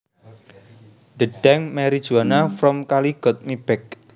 The dank marijuana from Cali got me baked